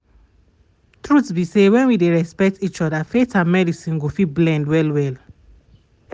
truth be say when we dey respect each other faith and medicine go fit blend well well